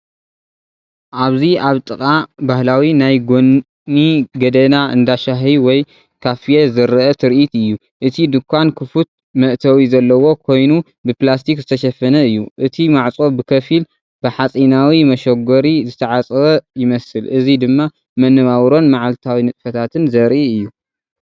ኣብዚ ኣብ ጥቓ ባህላዊ ናይ ጎኒ ጎደና እንዳ ሻሂ ወይ ካፌ ዝረአ ትርኢት እዩ። እቲ ድኳን ክፉት መእተዊ ዘለዎ ኮይኑብፕላስቲክ ዝተሸፈነ እዩ። እቲ ማዕጾ ብኸፊል ብሓጺናዊ መሸጎሪ ዝተዓጽወ ይመስል። እዚ ድማ መነባብሮን መዓልታዊ ንጥፈታትን ዘርኢ እዩ።